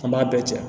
An b'a bɛɛ cɛn